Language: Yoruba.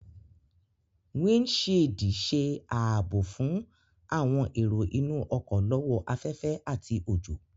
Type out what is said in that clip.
Windṣiidi ṣe aabo fun awọn ero inu ọkọ lọ́wọ́ afẹfẹ ati ojo